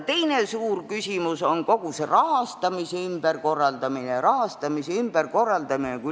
Veel üks suur küsimus on kogu rahastamise ümberkorraldamine.